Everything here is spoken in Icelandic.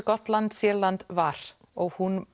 gott land Sýrland var og hún